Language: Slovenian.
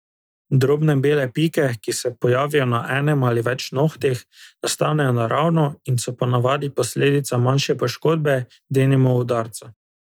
Drobne bele pike, ki se pojavijo na enem ali več nohtih, nastanejo naravno in so po navadi posledica manjše poškodbe, denimo udarca.